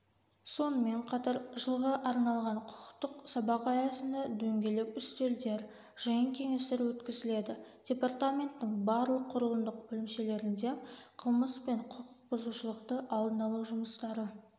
сонымен қатар жылға арналған құқықтық сабақ аясында дөңгелек үстелдер жиын-кеңестер өткізіледі департаменттің барлық құрылымдық бөлімшелерінде қылмыс пен құқық бұзушылықты алдын-алу жұмыстары